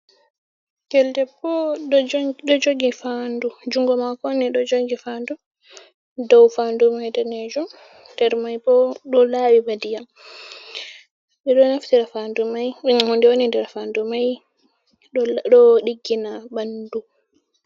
Ɓinngel debbo ɗo jogi faandu, junngo maako ni, ɗo jogi faandu, dow faandu may daneejum, nder may bo ɗo laaɓi ba ndiyam. Ɓe ɗo naftira faandu may, hunde woni nder faandu may ɗo ɗiggina ɓanndu.